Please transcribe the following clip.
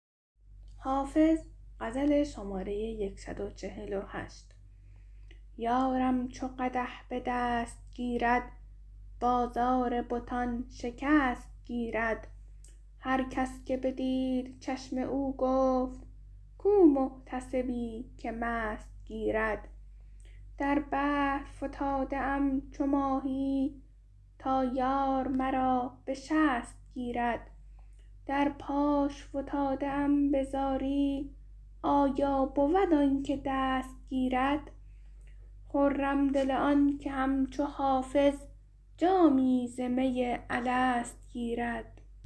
یارم چو قدح به دست گیرد بازار بتان شکست گیرد هر کس که بدید چشم او گفت کو محتسبی که مست گیرد در بحر فتاده ام چو ماهی تا یار مرا به شست گیرد در پاش فتاده ام به زاری آیا بود آن که دست گیرد خرم دل آن که همچو حافظ جامی ز می الست گیرد